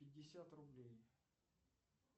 пятьдесят рублей